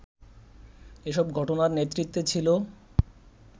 এসব ঘটনার নেতৃত্বে ছিল